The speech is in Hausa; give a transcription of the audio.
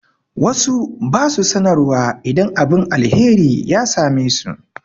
Wasu ba su sanarwa idan abin alheri ya same su.